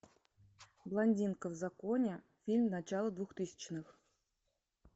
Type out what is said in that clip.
блондинка в законе фильм начало двухтысячных